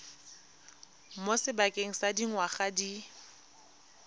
mo sebakeng sa dingwaga di